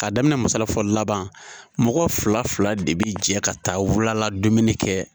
K'a daminɛ masala fɔlɔ laban mɔgɔ fila fila de bi jɛ ka taa wula la dumuni kɛ